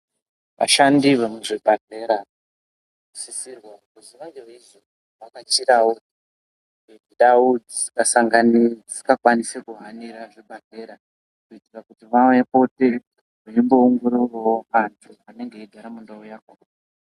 Ashandi vemuzvibhedhera sisirwa kuzi vange veizovhakachirawo ndau dzisikasangani dzisingakwanisi kuhanira zvibhadhlera kuite kuti Veimboongororawo antu anenge eigara nundau yakhona.